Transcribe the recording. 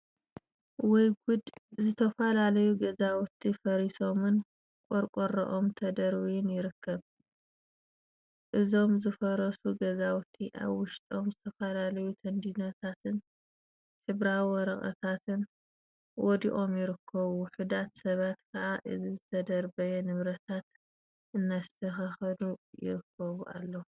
ወይ ጉድ! ዝተፈላለዩ ገዛውቲ ፈሪሶምን ቆርቆሮኦም ተደባርዩን ይርከብ፡፡ እዞም ዝፈራረሱ ገዛውቲ አብ ውሽጦም ዝተፈላለዩ ተንዲኖታትን ሕብራዊ ወረቀታትን ወዲቆም ይርከቡ፡፡ ውሑዳት ሰባት ከዓ እዚ ዝተደበራረዩ ንብረታት እናስተካከሉ ይርከቡ አለው፡፡